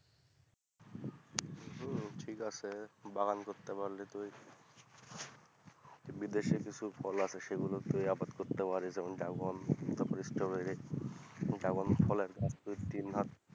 হম ঠিক আছে বাগান করতে পারলে তুই বিদেশের কিছু ফল আছে সেগুলো তুই আবাদ করতে পারিস যেমন ড্রাগন তারপরে স্ট্রবেরি। ড্রাগন ফল একদম দুই তিন মাস,